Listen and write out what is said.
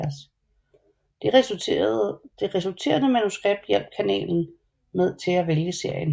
Det resulterende manuskript hjalp kanalen til at vælge serien